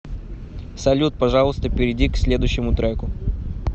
салют пожалуйста перейди к следующему треку